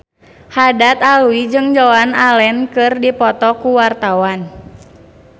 Haddad Alwi jeung Joan Allen keur dipoto ku wartawan